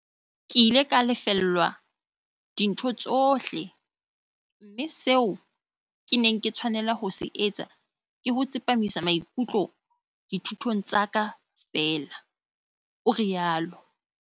"Ke ile ka lefellwa dintho tsohle, mme seo ke neng ke tshwanela ho se etsa ke ho tsepamisa maikutlo dithutong tsa ka feela," o rialo.